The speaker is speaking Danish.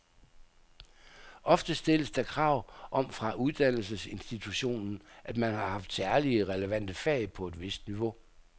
Ofte stilles der krav om fra uddannelsesinstitutionen, at man har haft særlig relevante fag på et vist niveau.